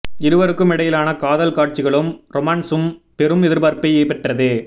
இருவருக்கும் இடையிலான காதல் காட்சிகளும் ரொமான்ஸும் பெரும் எதிர்பார்ப்பை பெற்றது